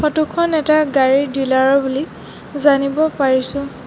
Photo খন এটা গাড়ী ডিলাৰ ৰ বুলি জানিব পাৰিছোঁ।